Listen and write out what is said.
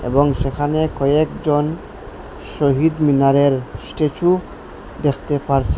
এবং সেখানে কয়েকজন শহীদ মিনারের স্ট্যাচু দেখতে পারছি।